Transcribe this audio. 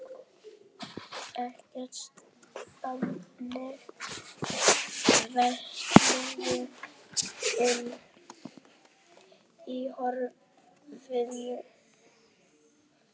Eykst þannig vatnsmagnið inni í höfðinu.